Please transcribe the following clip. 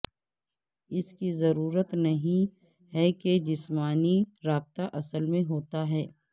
اس کی ضرورت نہیں ہے کہ جسمانی رابطہ اصل میں ہوتا ہے